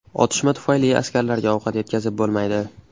Otishma tufayli askarlarga ovqat yetkazib bo‘lmaydi.